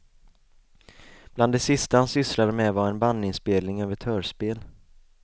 Bland det sista han sysslade med var en bandinspelning av ett hörspel.